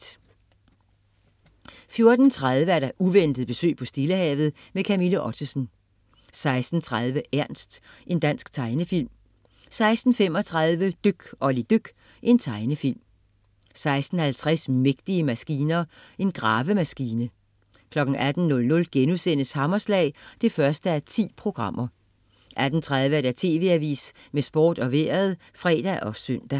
14.30 Uventet besøg på Stillehavet. Camilla Ottesen 16.30 Ernst. Dansk tegnefilm 16.35 Dyk Olli dyk. Tegnefilm 16.50 Mægtige maskiner. Gravemaskine 18.00 Hammerslag 1:10* 18.30 TV Avisen med sport og vejret (fre og søn)